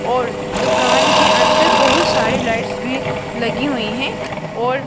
और दुकान के अंदर बहुत सारी लाइट्स भी लगी हुई हैं और--